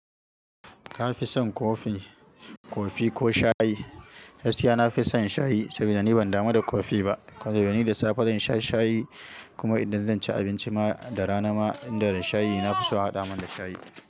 Ka fi son kofi, kofi ko shayi? Gaski yana fi son shayi saboda ni ban dama da kofi ba. Saboda ni da safe zan sha shayi kuma idan zan ci abinci ma da rana ma inda da shayi na fi so a haɗa man da shayi.